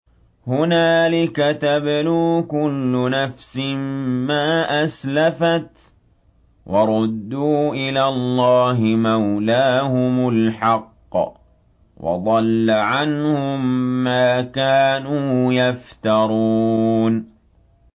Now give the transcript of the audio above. هُنَالِكَ تَبْلُو كُلُّ نَفْسٍ مَّا أَسْلَفَتْ ۚ وَرُدُّوا إِلَى اللَّهِ مَوْلَاهُمُ الْحَقِّ ۖ وَضَلَّ عَنْهُم مَّا كَانُوا يَفْتَرُونَ